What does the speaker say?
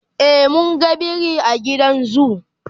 e mun ga biri a gidan zoo